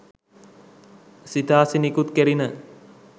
සිතාසි නිකුත් කෙරිණ